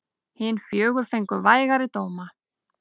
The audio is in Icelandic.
Hin fjögur fengu vægari dóma.